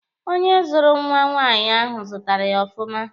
Onye zụrụ nwa nwaanyị ahụ zụtara ya ọfụma.